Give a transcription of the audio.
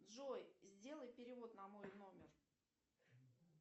джой сделай перевод на мой номер